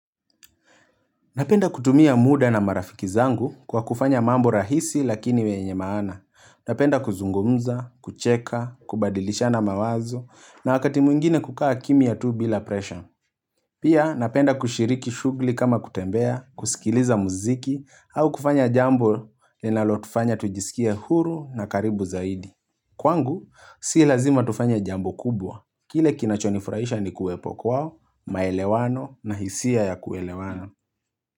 Napenda kutumia muda na marafiki zangu kwa kufanya mambo rahisi lakini wenye maana. Napenda kuzungumza, kucheka, kubadilishana mawazo na wakati mwingine kukaa kimya tu bila presha. Pia napenda kushiriki shughuli kama kutembea, kusikiliza muziki au kufanya jambo linalotufanya tujisikie huru na karibu zaidi. Kwangu, si lazima tufanye jambo kubwa. Kile kinachonifurahisha ni kuwepo kwao, maelewano na hisia ya kuelewana.